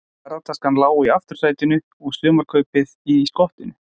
Ferðataskan lá í aftursætinu og sumarkaupið í skottinu.